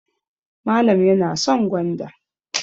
Malam yana son gwanda.